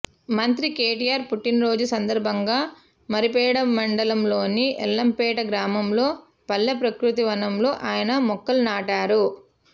మంత్రి కేటీఆర్ పుట్టినరోజు సందర్భంగా మరిపెడ మండలంలోని ఎల్లంపేట గ్రామంలో పల్లె ప్రకృతి వనంలో ఆయన మొక్కలు నాటారు